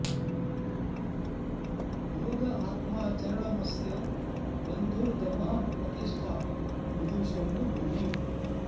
योग आत्मा चरणमस्य बन्धुर्दमः प्रतिष्ठा विदुषो न भूमिम्